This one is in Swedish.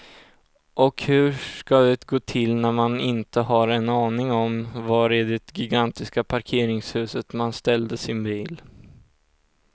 Och hur ska det gå till när man inte har en aning om var i det gigantiska parkeringshuset man ställde sin bil.